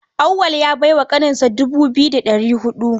Auwal ya bai wa ƙaninsa dubu biyu da ɗari huɗu.